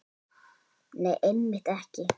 Nei, einmitt ekki.